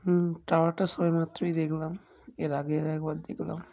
হুমম টাওয়ারটা সবে মাত্রই দেখলাম। এর আগের একবার দেখলাম।